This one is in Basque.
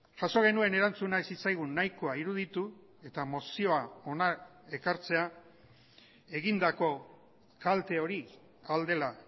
jaso genuen erantzuna ez zitzaigun nahikoa iruditu eta mozioa hona ekartzea egindako kalte hori ahal dela